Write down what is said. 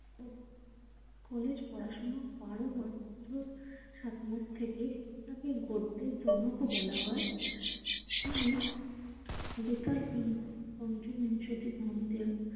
College পড়াশোনা বারো বছর সাত মাস থেকে, তাকে গদ্যের জনকও বলা হয়। তিনি বেতাল প পঞ্চবিংশতি গ্রন্থের